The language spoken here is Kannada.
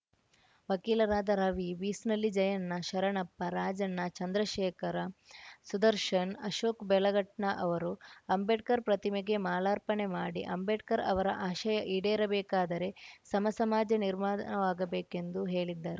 ವಕೀಲರಾದ ರವಿ ಬೀಸ್ನಳ್ಳಿ ಜಯಣ್ಣ ಶರಣಪ್ಪ ರಾಜಣ್ಣ ಚಂದ್ರಶೇಖರ ಸುದರ್ಶನ್‌ ಅಶೋಕ್‌ಬೆಳಗಟ್ನ ಅವರು ಅಂಬೇಡ್ಕರ್‌ ಪ್ರತಿಮೆಗೆ ಮಾಲಾರ್ಪಣೆ ಮಾಡಿ ಅಂಬೇಡ್ಕರ್‌ ಅವರ ಆಶಯ ಈಡೇರಬೇಕಾದರೆ ಸಮಸಮಾಜ ನಿರ್ಮಾಣವಾಗಬೇಕೆಂದು ಹೇಳಿದರು